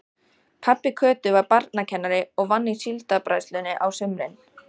Pabbi Kötu var barnakennari og vann í Síldarbræðslunni á sumrin.